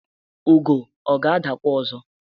ugo ọ ga-adakwa ọzọ?